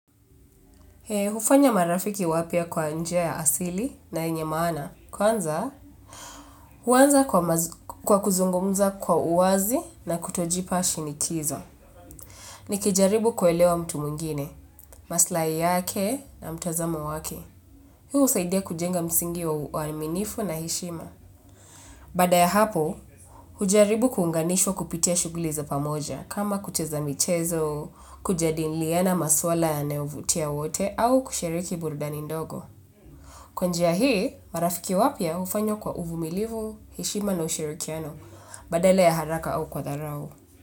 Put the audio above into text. Hufanya marafiki wapia kwa njia ya asili na yenye maana, kwanza huanza kwa kuzungumza kwa uwazi na kutojipa shinikizo. Nikijaribu kuelewa mtu mwingine, maslahi yake na mtazamo wake. Hii usaidia kujenga msingi wa uaminifu na heshima. Baada ya hapo, hujaribu kuunganishwa kupitia shughuli za pamoja, kama kucheza michezo, kujadiliana maswala ya nayovutia wote, au kushiriki buruda nindogo. Kwa njia hii, marafiki wapia ufanywa kwa uvumilivu, heshima na ushirikiano, badala ya haraka au kwa tharao.